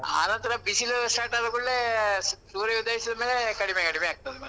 ಆನಂತ್ರ ಬಿಸಿಲೆಲ್ಲ start ಆದ ಕೂಡ್ಲೆ, ಸೂರ್ಯ ಉದಯಿಸಿದ್ ಮೇಲೆ, ಕಡಿಮೆ ಕಡಿಮೆ ಆಗ್ತದೆ ಮತ್ತೆ.